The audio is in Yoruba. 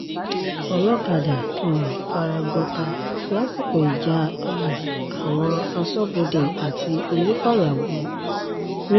olọ́kadà um fara gbọ́ta lásìkò ìjà um àwọn aṣọ́bodè àti onífàyàwọ́ ńlọrọrìn